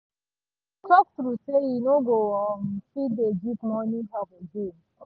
he talk true say e no go um fit dey give money help again